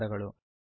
ಧನ್ಯವಾದಗಳು